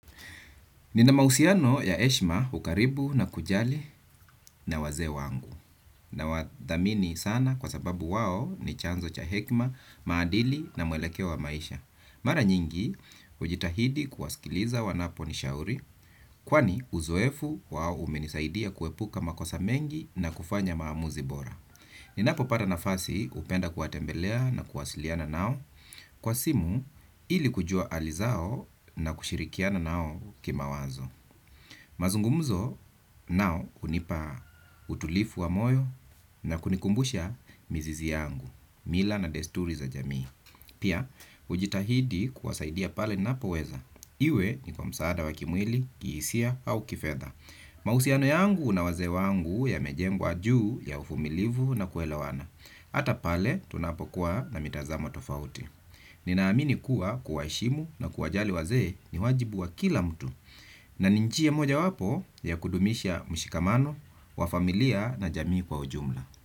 Nina mahusiano ya heshima ukaribu na kujali na wazee wangu na wadhamini sana kwa sababu wao ni chanzo cha hekima, maadili na muelekeo wa maisha. Mara nyingi hujitahidi kuwasikiliza wanapo nishauri kwani uzoefu wao umenisaidia kuepuka makosa mengi na kufanya maamuzi bora. Ninapo pata nafasi hupenda kuwatembelea na kuwasiliana nao kwa simu ili kujua hali zao na kushirikiana nao ki mawazo. Mazungumzo nao hunipa utulivu wa moyo na kunikumbusha mizizi yangu, mila na desturi za jamii. Pia, hujitahidi kuwasaidia pale ninapoweza, iwe ni kwa msaada wa kimwili, kihisia au kifedha. Mahusiano yangu na wazee wangu yamejengwa juu ya uvumilivu na kuelewana. Hata pale tunapokuwa na mitazamo tofauti. Nina amini kuwa kuwaheshimu na kuwajali wazee ni wajibu wa kila mtu na ni njia mojawapo ya kudumisha mshikamano, wa familia na jamii kwa ujumla.